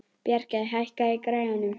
Bjarki, hækkaðu í græjunum.